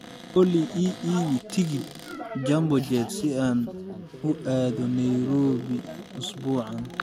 Olly, ii iibi tigidh Jambojet si aan u aado Nairobi usbuucan